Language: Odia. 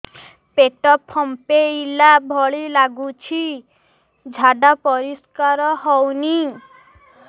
ପେଟ ଫମ୍ପେଇଲା ଭଳି ଲାଗୁଛି ଝାଡା ପରିସ୍କାର ହେଉନି